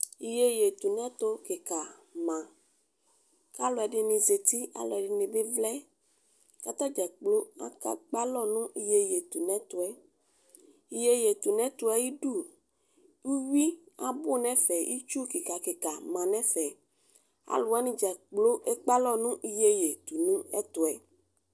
Iyeye sʋ ɛtʋ kikama kʋ alʋ ɛdini zati kʋ alʋ ɛdini bi vlɛ kʋ atadzaa kploo ekpe alɔ nʋ iyeye yɛ ayʋ ɛtʋ iyeye sʋ ɛtʋ yɛ ayʋ idʋ iwi abʋ nʋ ɛfɛ itsʋ kika kika ma nʋ ɛfɛ alʋ wani dza kploo ekpe alɔ nʋ iyeye sʋ ɛtʋ